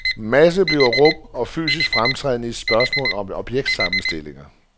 Masse bliver rum, og fysisk fremtræden et spørgsmål om objektsammenstillinger.